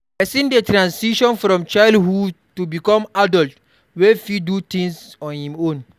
Person dey transition from childhood to become adult wey fit do things on im own